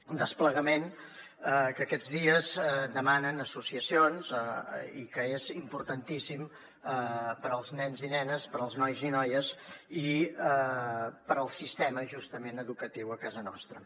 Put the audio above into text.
un desplegament que aquests dies demanen associacions i que és importantíssim per als nens i nenes per als nois i noies i per al sistema justament educatiu a casa nostra